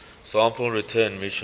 sample return missions